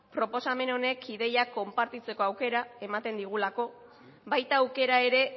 proposamen honek ideiak konpartitzeko aukera ematen digulako baita aukera ere